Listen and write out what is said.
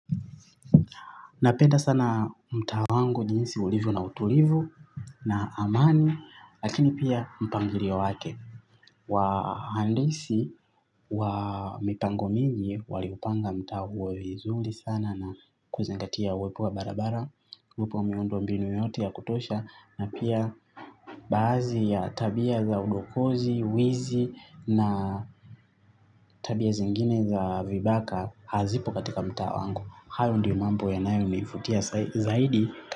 Napenda sana mtaa wangu jinsi ulivyo na utulivu na amani, lakini pia mpangilio wake. Wahandisi wa mipango mingi waliupanga mtaa huo vizuri sana na kuzingatia uwepo wa barabara, uwepu wa miundo mbinu yote ya kutosha na pia baadhi ya tabia za udokozi, wizi na tabia zingine za vibaka hazipo katika mtaa wangu. Hayo ndio mambo yanayo nivutia zaidi.